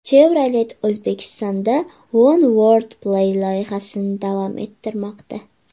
Chevrolet O‘zbekistonda One World Play loyihasini davom ettirmoqda.